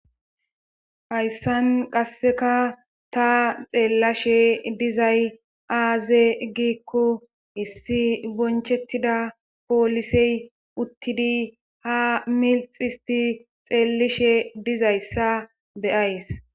Hayssan qasseka ta xeellashe dizay aaze gikko issi bonchettida poolisey uttidi ha milx histi xeellishe dizayssa beyays.